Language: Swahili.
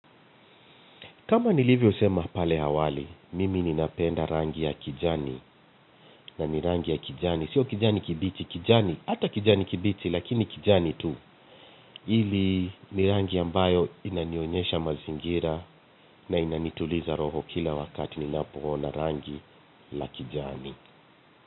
Kama nilivyosema pale awali, mimi ninapenda rangi ya kijani na ni rangi ya kijani. Sio kijani kibichi, kijani. Hata kijani kibichi, lakini kijani tu. Hili ni rangi ambayo inanionyesha mazingira na inanituliza roho kila wakati ninapoona rangi la kijani.